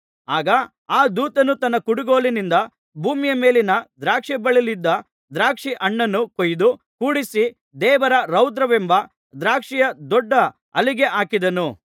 ಆಗ ಆ ದೂತನು ತನ್ನ ಕುಡುಗೋಲಿನಿಂದ ಭೂಮಿಯ ಮೇಲಿನ ದ್ರಾಕ್ಷಿಬಳ್ಳಿಯಲ್ಲಿದ್ದ ದ್ರಾಕ್ಷಿಹಣ್ಣನ್ನು ಕೊಯ್ದು ಕೂಡಿಸಿ ದೇವರ ರೌದ್ರವೆಂಬ ದ್ರಾಕ್ಷಿಯ ದೊಡ್ಡ ಆಲೆಗೆ ಹಾಕಿದನು